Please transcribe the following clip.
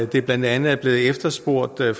det blandt andet er blevet efterspurgt af